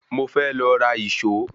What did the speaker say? Mo fẹ́ lọ ra ìṣó.